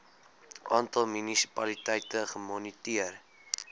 aantal munisipaliteite gemoniteer